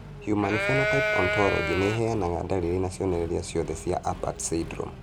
Human Phenotype Ontology ĩheanaga ndariri na cionereria ciothe cia Apert syndrome.